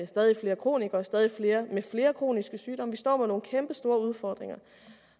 stadig flere kronikere stadig flere med flere kroniske sygdomme vi står med nogle kæmpestore udfordringer